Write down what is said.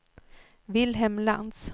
Vilhelm Lantz